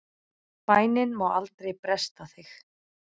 Bænin má aldrei bresta þig!